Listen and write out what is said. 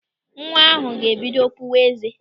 Nwa ahụ ga-ebido pụwa ézé.